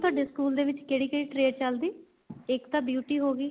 ਤੁਹਾਡੇ school ਦੇ ਵਿੱਚ ਕਿਹੜੀ ਕਿਹੜੀ trade ਚੱਲਦੀ ਇੱਕ ਤਾਂ beauty ਹੋਗੀ